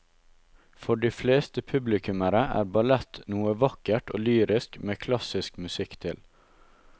For de fleste publikummere er ballett noe vakkert og lyrisk med klassisk musikk til.